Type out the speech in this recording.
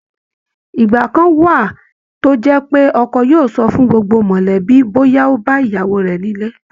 ìgbà kan wà tó jẹ́ pé ọkọ yóò sọ fún gbogbo mọ̀lẹ́bí bóyá ó bá ìyàwó rẹ̀ nílé